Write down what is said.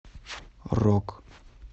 рок